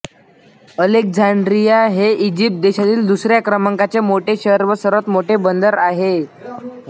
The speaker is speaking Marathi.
अलेक्झांड्रिया हे इजिप्त देशातील दुसऱ्या क्रमांकाचे मोठे शहर व सर्वात मोठे बंदर आहे